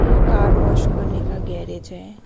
ये car wash करने का गैरेज है।